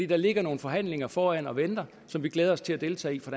der ligger nogle forhandlinger foran og venter som vi glæder os til at deltage i fra